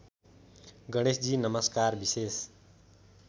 गणेशजी नमस्कार विशेष